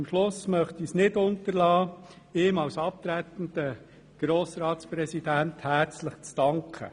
Am Schluss möchte ich es nicht unterlassen, ihm als abtretenden Grossratspräsidenten herzlich zu danken.